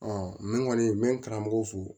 n kɔni n bɛ n karamɔgɔ fo